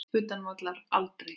Utan vallar: aldrei.